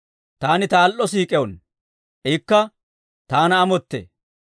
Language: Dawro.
Taani ta al"o siik'uwaanno; ikka taana amottee.